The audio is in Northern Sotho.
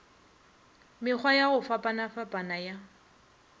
mekgwa ya go fapafapana ya